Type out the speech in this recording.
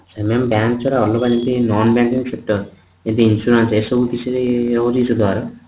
mam bank ଯୋଉରା ଅଲଗା ଯେମିତି ଏମତି insurance ଏ ସବୁ କିଛି ରହୁଛି କି ସୁଧହାର